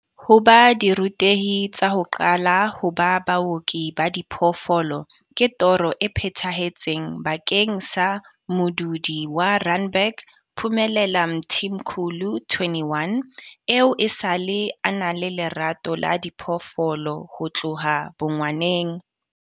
Ho ba dirutehi tsa ho qala ho ba baoki ba diphoofolo ke toro e phethahetseng bakeng sa modudi wa Randburg Phumelela Mthimkhulu 21, eo esale a na le lerato la diphoofolo ho tloha bongwaneng.